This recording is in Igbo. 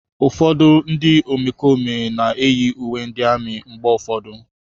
Ụfọdụ ndị omekome na-eyi uwe ndị amị mgbe ụfọdụ.